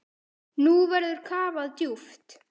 Nú verður kafað djúpt.